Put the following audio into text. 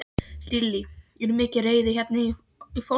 Lillý: Er mikil reiði hérna í fólki?